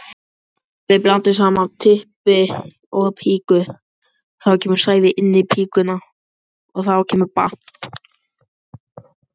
Júlíetta, hvað er í dagatalinu í dag?